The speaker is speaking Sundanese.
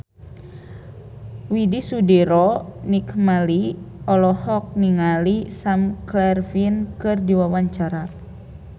Widy Soediro Nichlany olohok ningali Sam Claflin keur diwawancara